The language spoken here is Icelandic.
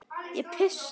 Ég pissa.